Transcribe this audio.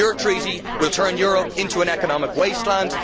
Your Treaty will turn Europe into an economic wasteland.